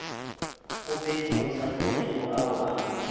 kgopetšego sa tlogego ao a